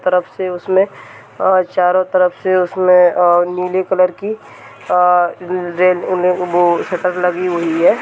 तरफ से उसमे चारो तरफ से उसमे नीले कलर की अ वो शटर लगी हुई है।